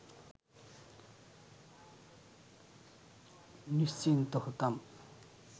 নিশ্চিন্ত হতাম